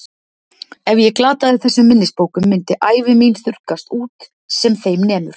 Ef ég glataði þessum minnisbókum myndi ævi mín þurrkast út sem þeim nemur.